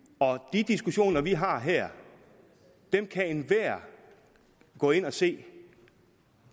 de diskussioner vi har her kan enhver gå ind og se